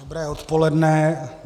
Dobré odpoledne.